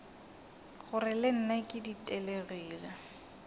gore le nna ke ditelegile